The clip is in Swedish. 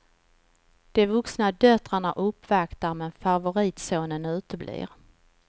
De vuxna döttrarna uppvaktar, men favoritsonen uteblir.